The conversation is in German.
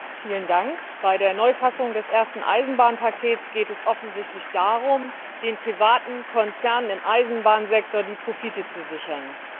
Frau Präsidentin! Bei der Neufassung des ersten Eisenbahnpakets geht es offensichtlich darum, den privaten Konzernen im Eisenbahnsektor die Profite zu sichern.